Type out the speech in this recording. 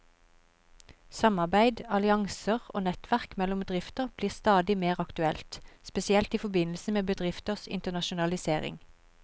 Samarbeid, allianser og nettverk mellom bedrifter blir stadig mer aktuelt, spesielt i forbindelse med bedrifters internasjonalisering.